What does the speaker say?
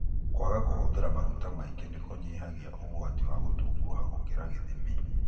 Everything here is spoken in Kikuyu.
Kwaga kũhũthira maguta maingĩ nĩkũnyihagia ũgwati wa gũtunguha gũkĩra gĩthimi.